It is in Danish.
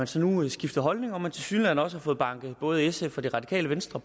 så nu skifter holdning og at man tilsyneladende også har fået banket både sf og det radikale venstre